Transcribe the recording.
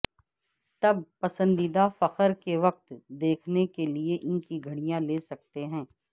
تب پسندیدہ فخر کے وقت دیکھنے کے لئے ان کی گھڑیاں لے سکتے ہیں